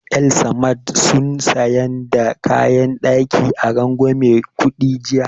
El-samad sun sayan da kayan ɗaki a rangwamen kuɗi jiya